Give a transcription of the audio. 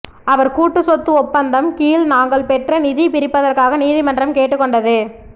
அவர் கூட்டு சொத்து ஒப்பந்தம் கீழ் நாங்கள் பெற்ற நிதி பிரிப்பதற்காக நீதிமன்றம் கேட்டுக்கொண்டது